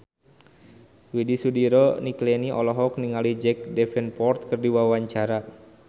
Widy Soediro Nichlany olohok ningali Jack Davenport keur diwawancara